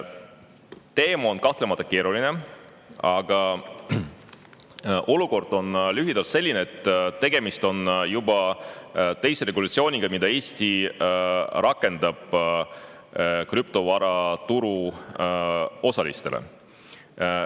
Teema on kahtlemata keeruline, aga olukord on lühidalt selline, et tegemist on juba teise regulatsiooniga, mida Eesti rakendab krüptovaraturu osalistele.